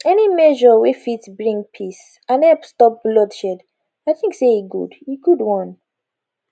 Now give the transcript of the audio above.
any measure wey fit bring peace and help stop bloodshed i tik say e good e good one